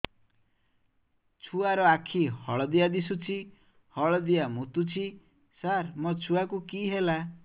ଛୁଆ ର ଆଖି ହଳଦିଆ ଦିଶୁଛି ହଳଦିଆ ମୁତୁଛି ସାର ମୋ ଛୁଆକୁ କି ହେଲା